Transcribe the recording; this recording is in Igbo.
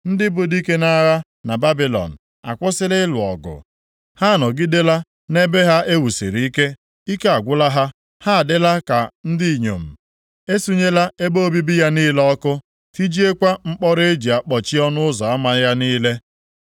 Ndị bụ dike nʼagha na Babilọn akwụsịla ịlụ ọgụ; ha anọgidela nʼebe ha e wusiri ike. Ike agwụla ha; ha adịla ka ndị inyom. E sunyela ebe obibi ya niile ọkụ, tijiekwa mkpọrọ e ji akpọchi ọnụ ụzọ ama ya niile.